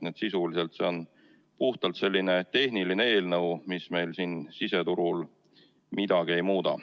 Nii et sisuliselt see on puhtalt selline tehniline eelnõu, mis meil siin siseturul midagi ei muuda.